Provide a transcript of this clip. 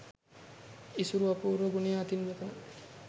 ඉසුරු අපූර්ව ගුණය අතින් මෙතන